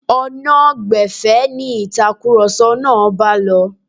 Ọ̀nà gbẹ̀fẹ̀ ni ìtakùrọ̀sọ náà bá lọ.